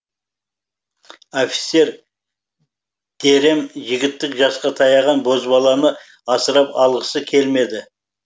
офицер дэрэм жігіттік жасқа таяған бозбаланы асырап алғысы келмеді